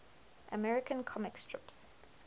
american comic strips